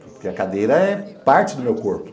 Porque a cadeira é parte do meu corpo.